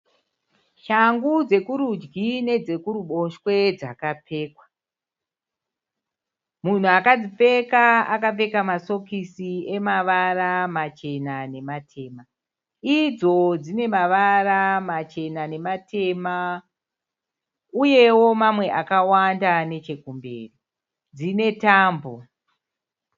Shangu dzekurudyi nedzekuruboshwe dzakapfekwa. Munhu akadzipfeka akapfeka masokisi emavara machena nematema, idzo dzinemavara machena nematema. Uyewo mamwe akawanda nechekumberi. Dzine tambo.